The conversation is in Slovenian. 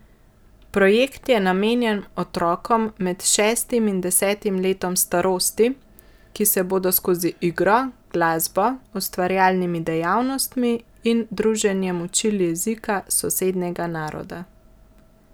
Projekt je namenjen otrokom med šestim in desetim letom starosti, ki se bodo skozi igro, glasbo, ustvarjalnimi dejavnostmi in druženjem učili jezika sosednjega naroda.